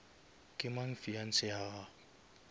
ke mang fiance ya gago